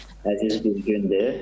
Bu gün əziz bir gündür.